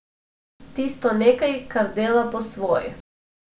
Tisto nekaj, kar dela po svoje ...